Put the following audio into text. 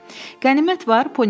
Qənimət var?